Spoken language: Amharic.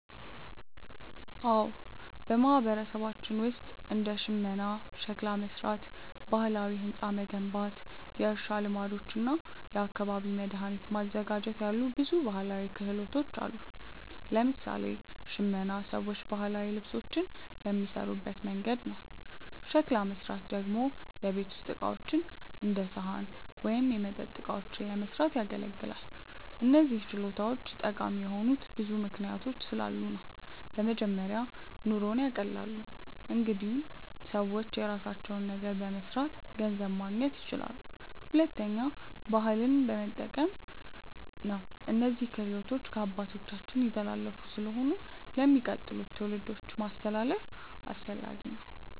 አዎ፣ በማህበረሰባችን ውስጥ እንደ ሽመና፣ ሸክላ መሥራት፣ ባህላዊ ሕንፃ መገንባት፣ የእርሻ ልማዶች እና የአካባቢ መድኃኒት ማዘጋጀት ያሉ ብዙ ባህላዊ ክህሎቶች አሉ። ለምሳሌ ሽመና ሰዎች ባህላዊ ልብሶችን የሚሠሩበት መንገድ ነው። ሸክላ መሥራት ደግሞ የቤት ውስጥ ዕቃዎች እንደ ሳህን ወይም የመጠጥ እቃዎችን ለመስራት ያገለግላል። እነዚህ ችሎታዎች ጠቃሚ የሆኑት ብዙ ምክንያቶች ስላሉ ነው። በመጀመሪያ ኑሮን ያቀላሉ። እንዲሁም ሰዎች የራሳቸውን ነገር በመስራት ገንዘብ ማግኘት ይችላሉ። ሁለተኛ ባህልን መጠበቅ ነው፤ እነዚህ ክህሎቶች ከአባቶቻችን የተላለፉ ስለሆኑ ለሚቀጥሉት ትውልዶች ማስተላለፍ አስፈላጊ ነው።